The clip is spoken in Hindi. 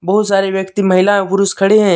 बहुत सारे व्यक्ति महिला व पुरुष खड़े हैं।